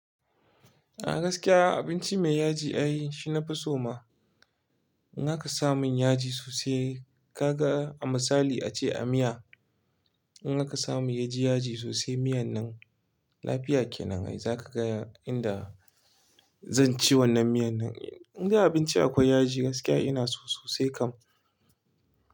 A gaskiya abinci mai yaji ai shi na fiso ma. In aka samu yaji sosai kaga a misali a ce a miya. In aka samu yaji ya ji sosai miyan nan lafiya kenan ai zaka gaya inda zan ci wannan miyan nan. Inda abinci akwai yaji gaskiya ina so sosai kam.